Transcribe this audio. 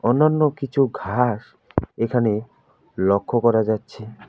অন্যান্য কিছু ঘাস এখানে লক্ষ করা যাচ্ছে।